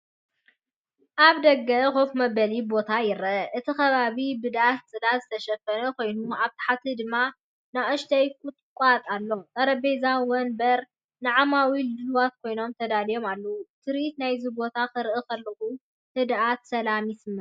ኣብ ደገ ኮፍ መበሊ ቦታ ይርአ። እቲ ከባቢ ብዳስ/ጽላል ዝተሸፈነ ኮይኑ ኣብ ታሕቲ ድማ ንኣሽቱ ቁጥቋጥ ኣሎ። ጠረጴዛታትን መንበርን ንዓማዊል ድሉዋት ኮይኖም ተዳልዮም ኣለዉ። ትርኢት ናይዚ ቦታ ክርኢ ከለኹ ህድኣትን ሰላምን ይስምዓኒ።